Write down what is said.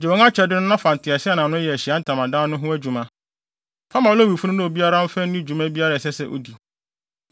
“Gye wɔn akyɛde no na fa nteaseɛnam no yɛ Ahyiae Ntamadan no ho adwuma. Fa ma Lewifo no na obiara mfa nni dwuma biara a ɛsɛ sɛ odi.”